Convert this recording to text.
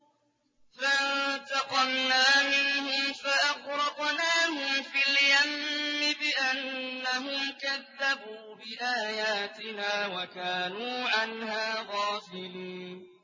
فَانتَقَمْنَا مِنْهُمْ فَأَغْرَقْنَاهُمْ فِي الْيَمِّ بِأَنَّهُمْ كَذَّبُوا بِآيَاتِنَا وَكَانُوا عَنْهَا غَافِلِينَ